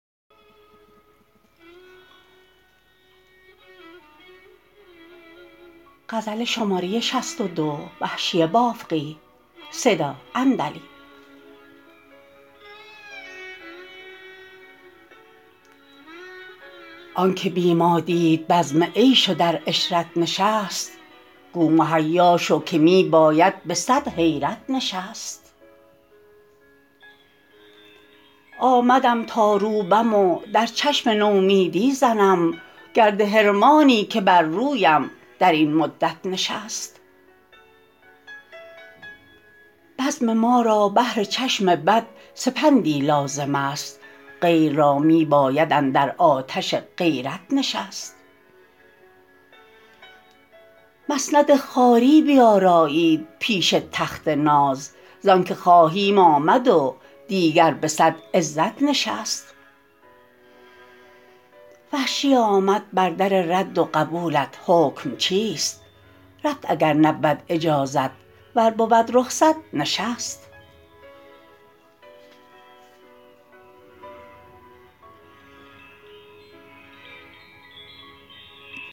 آنکه بی ما دید بزم عیش و در عشرت نشست گو مهیا شو که می باید به سد حیرت نشست آمدم تا روبم و در چشم نومیدی زنم گرد حرمانی که بر رویم در این مدت نشست بزم ما را بهر چشم بد سپندی لازمست غیر را می باید اندر آتش غیرت نشست مسند خواری بیارایید پیش تخت ناز زانکه خواهیم آمد و دیگر به سد عزت نشست وحشی آمد بر در رد و قبولت حکم چیست رفت اگر نبود اجازت ور بود رخصت نشست